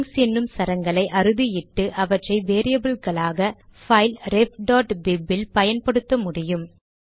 strings என்னும் சரங்களை அறுதியிட்டு அவற்றை வேரியபில்களாக பைல் refபிப் இல் பயன்படுத்த முடியும்